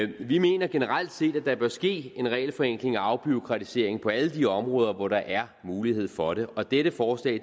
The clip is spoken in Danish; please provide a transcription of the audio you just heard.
det vi mener generelt set at der bør ske en regelforenkling og afbureaukratisering på alle de områder hvor der er mulighed for det og dette forslag